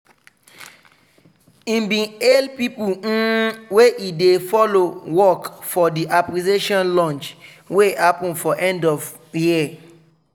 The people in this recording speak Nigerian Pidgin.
he bin hail people um wey he dey follow work for the appreciation-lunch wey happen for end of year.